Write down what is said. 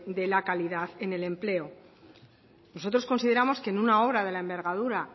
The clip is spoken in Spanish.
de la calidad en el empleo nosotros consideramos que en una obra de la envergadura